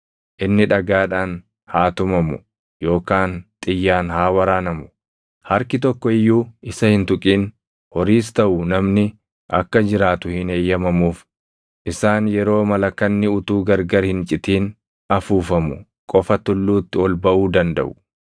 Inni dhagaadhaan haa tumamu yookaan xiyyaan haa waraanamu; harki tokko iyyuu isa hin tuqin; horiis taʼu namni akka jiraatu hin eeyyamamuuf.’ Isaan yeroo malakanni utuu gargar hin citin afuufamu qofa tulluutti ol baʼuu dandaʼu.”